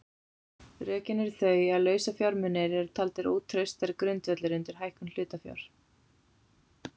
Rökin eru þau að lausafjármunir eru taldir ótraustari grundvöllur undir hækkun hlutafjár.